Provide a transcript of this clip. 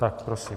Tak prosím.